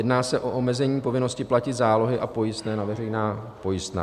Jedná se o omezení povinnosti platit zálohy a pojistné na veřejná pojistná.